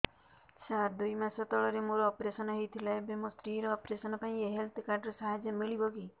ସାର ଦୁଇ ମାସ ତଳରେ ମୋର ଅପେରସନ ହୈ ଥିଲା ଏବେ ମୋ ସ୍ତ୍ରୀ ର ଅପେରସନ ପାଇଁ ଏହି ହେଲ୍ଥ କାର୍ଡ ର ସାହାଯ୍ୟ ମିଳିବ କି